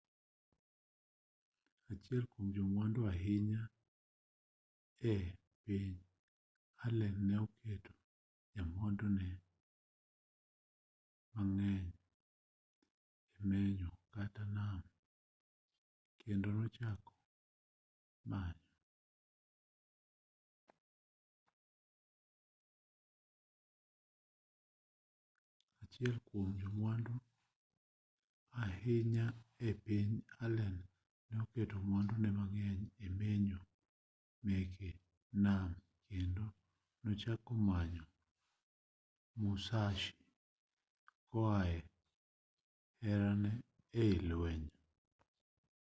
achiel kuom jomwandu ahinya e piny allen ne oketo mwandune mang'eny e menyo meke nam kendo nochako manyo musashi koae herane e i lueny